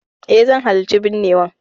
Eh, zan halarci binnewan.